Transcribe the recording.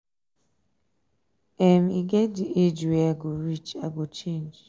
um e get dey age wey i um go reach um i go change.